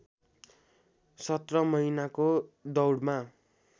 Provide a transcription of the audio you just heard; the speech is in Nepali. सत्र महिनाको दौडमा